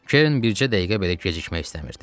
Kerrin bircə dəqiqə belə gecikmək istəmirdi.